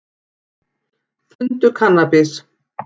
Fundu kannabis